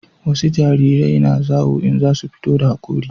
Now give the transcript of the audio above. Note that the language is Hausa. wasu jarirai na zawo in za su fito da hakori